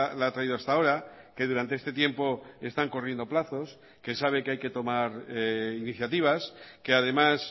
la ha traído hasta ahora que durante este tiempo están corriendo plazos que sabe que hay que tomar iniciativas que además